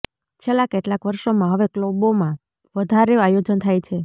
છેલ્લા કેટલાક વર્ષોમાં હવે ક્લબોમાં વધારે આયોજન થાય છે